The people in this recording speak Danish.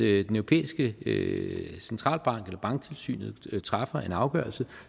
europæiske centralbank eller banktilsynet træffer en afgørelse